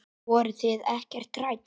Voruð þið ekkert hrædd?